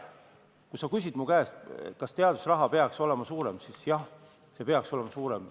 Kui sa küsid mu käest, kas teadusraha peaks olema suurem, siis jah, see peaks olema suurem.